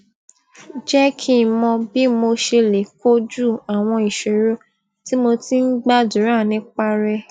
jé kí n mọ bí mo ṣe lè kojú àwọn ìṣòro tí mo ti máa ń gbàdúrà nípa rè